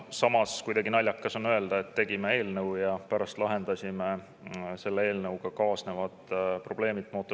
Samas, kuidagi naljakas on öelda, et tegime mootorsõidukimaksu ja pärast lahendasime sellega kaasnevad probleemid.